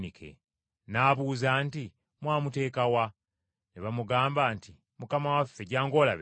N’abuuza nti, “Mwamuteeka wa?” Ne bamugamba nti, “Mukama waffe jjangu olabeyo.”